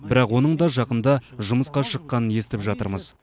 бірақ оның да жақында жұмысқа шыққанын естіп жатырмыз